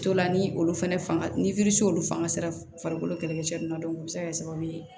Tolan ni olu fɛnɛ fanga ni olu fanga sera farikolo kɛlɛkɛcɛ ninnu o bɛ se ka kɛ sababu ye